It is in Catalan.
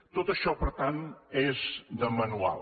tot això per tant és de manual